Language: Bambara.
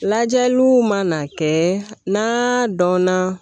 Lajɛliw mana kɛ n'a dɔnna